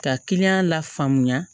Ka kiliyan la faamuya